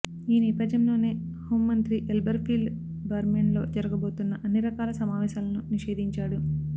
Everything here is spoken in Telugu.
ఈ నేపధ్యంలోనే హౌంమంత్రి ఎల్బర్ ఫీల్డ్ బార్మెన్లో జరగబోతున్న అన్నిరకాల సమావేశాలను నిషేధించాడు